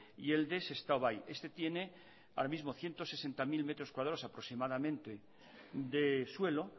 y el de sestao bai este tiene ahora mismo ciento sesenta mil metros cuadrados aproximadamente de suelo